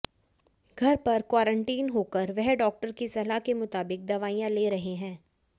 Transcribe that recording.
घर पर क्वारंटाइन होकर वह डॉक्टर की सलाह के मुताबिक दवाइयां ले रहे हैं